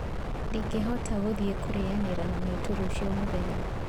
Ndingĩhota gũthiĩ kũrĩanira na maitũ rũciũ mũthenya